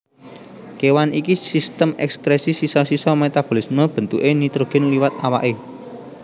Kewan iKi Sistem ekskresi sisa sisa metabolisme bentuké nitrogen liwat awaké